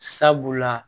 Sabula